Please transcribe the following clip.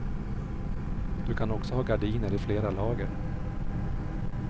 Du kan också ha gardiner i flera lager.